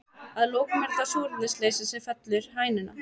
Að lokum er það súrefnisleysi sem fellir hænuna.